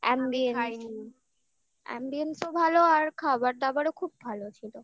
ambience ambience ও ভালো আর খাবার দাবারও খুব ভালো ছিল